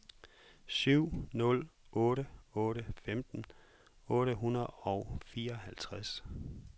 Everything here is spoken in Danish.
syv nul otte otte femten otte hundrede og fireoghalvtreds